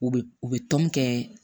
U bɛ u bɛ tɔn kɛ